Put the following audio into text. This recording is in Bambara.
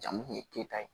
Jamu tun ye keyita ye